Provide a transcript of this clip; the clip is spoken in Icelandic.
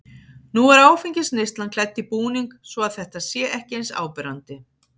Nú er áfengisneyslan klædd í búning svo að þetta sé ekki eins áberandi.